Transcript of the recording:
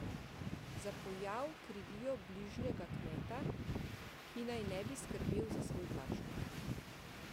Za pojav krivijo bližnjega kmeta, ki naj ne bi skrbel za svoj pašnik.